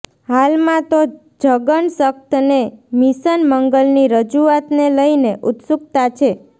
હાલમાં તો જગનશક્તને મિશન મંગલની રજૂઆતને લઇને ઉત્સુકતા છે